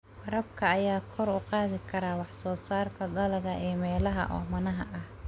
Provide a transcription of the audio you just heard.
Waraabka ayaa kor u qaadi kara wax soo saarka dalagga ee meelaha oomanaha ah.